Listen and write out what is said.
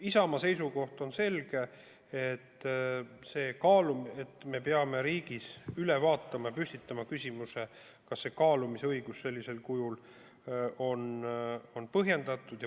Isamaa seisukoht on selge: me peame riigis üle vaatama ja püstitama küsimuse, kas kaalumisõigus sellisel kujul on põhjendatud.